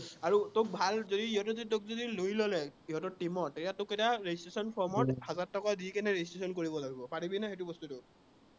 আৰু তোক যদি ভাল যদি, সিঁহতে যদি তোক যদি লৈ ললে সিহঁতৰ team ত তেতিয়া তোক তেতিয়া registration form ত হাজাৰ টকা দি কেনে registration কৰিব লাগিব পাৰিবি নাই সেইটো বস্তুটো